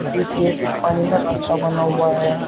पीछे कुछ पानी में रास्ता बना हुआ है।